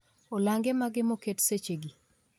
Olange mage moket sechegi